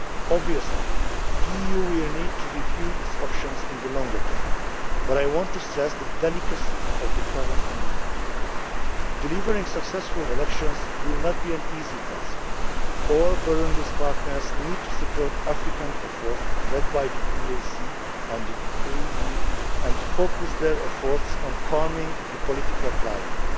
violence. Obviously the EU will need to review its options in the longer term, but I want to stress the delicacy of the current moment. Delivering successful elections will not be an easy task. All Burundi's partners need to support African efforts, led by the EAC and the AU, and focus their efforts on calming the political